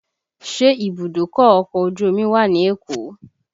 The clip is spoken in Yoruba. Ṣé ìbùdókọ̀ ọkọ̀ ojú omi wà ní Èkó?